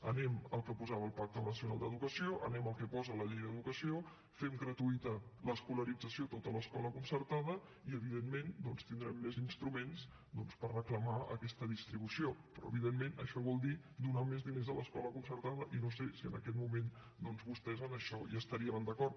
anem al que posava el pacte nacional per a l’educació anem al que posa la llei d’educació fem gratuïta l’escolarització a tota l’escola concertada i evidentment doncs tindrem més instruments per reclamar aquesta distribució però evidentment això vol dir donar més diners a l’escola concertada i no sé si en aquest moment vostès en això hi estarien d’acord